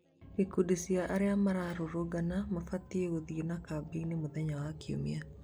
Ikundi cia arĩa mararũrũngana mabangĩte gũthiĩ na kambĩini mũthenya wa kiumia